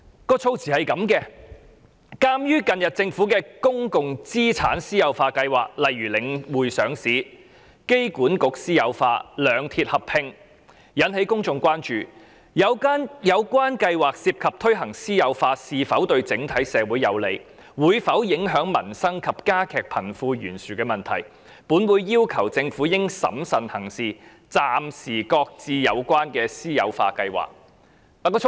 當時的議案內容如下："鑒於近日政府的公共資產私有化計劃，例如領匯上市、香港機場管理局私有化及兩鐵合併等，均引起公眾關注，而有關計劃涉及推行私有化是否對整體社會有利、會否影響民生及加劇貧富懸殊等問題，本會要求政府應審慎行事，暫時擱置有關的私有化計劃"。